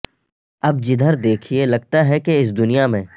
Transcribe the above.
اب جدھر دیکھئے لگتا ہے کہ اس دنیا میں